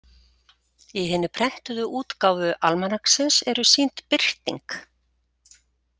Í hinni prentuðu útgáfu Almanaksins eru sýnd birting.